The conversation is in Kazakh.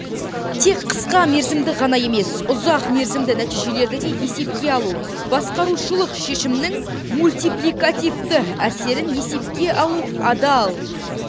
тек қысқамерзімді ғана емес ұзақмерзімді нәтижелерді де есепке алу басқарушылық шешімнің мультипликативті әсерін есепке алу адал